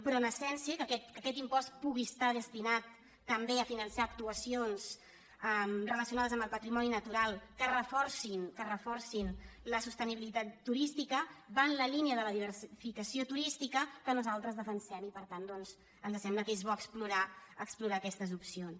però en essència que aquest impost pugui estar destinat també a finançar actuacions relacionades amb el patrimoni natural que reforcin que reforcin la sostenibilitat turística va en la línia de la diversificació turística que nosaltres defensem i per tant ens sembla que és bo explorar aquestes opcions